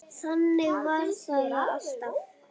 Þannig var það alltaf.